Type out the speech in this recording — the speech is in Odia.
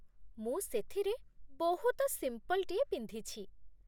ମୁଁ ସେଥିରେ ବହୁତ ସିମ୍ପଲ୍‌ଟିଏ ପିନ୍ଧିଛି ।